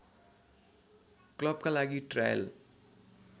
क्लबका लागि ट्रायल